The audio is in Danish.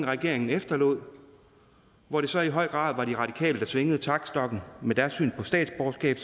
regeringen efterlod hvor det så i høj grad var de radikale der svingede taktstokken og med deres syn på statsborgerskab